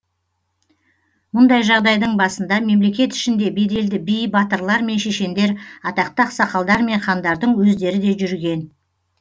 мұндай жағдайдың басында мемлекет ішінде беделді би батырлар мен шешендер атақты ақсақалдар мен хандардың өздері де жүрген